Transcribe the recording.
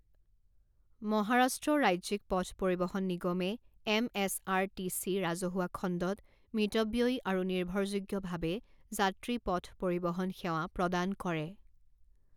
মহাৰাষ্ট্ৰ ৰাজ্যিক পথ পৰিবহণ নিগমে M S R T C ৰাজহুৱা খণ্ডত মিতব্যয়ী আৰু নিৰ্ভৰযোগ্যভাৱে যাত্ৰী পথ পৰিবহণ সেৱা প্ৰদান কৰে।